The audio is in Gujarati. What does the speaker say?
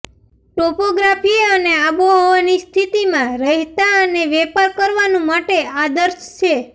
ટોપોગ્રાફી અને આબોહવાની સ્થિતિમાં રહેતા અને વેપાર કરવાનું માટે આદર્શ છે